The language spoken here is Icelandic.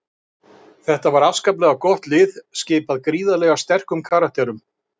Þetta var afskaplega gott lið, skipað gríðarlega sterkum karakterum.